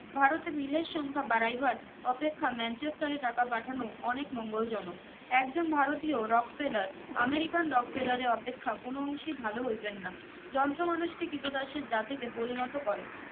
ভারতে মিলের সংখ্যা বারাইবার অপেক্ষা manchester এ টাকা পাঠানো অনেক মঙ্গল জনক একজন ভারতীয় rocksellarAmericanrock ফেরারের অপেক্ষা কোনো অংশি ভলো হইবেন না যন্ত্র মানুষকে কৃত দাসের জাতিতে পরিণত করে